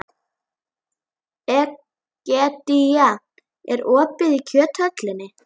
Egedía, er opið í Kjöthöllinni?